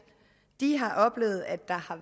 har oplevet at der har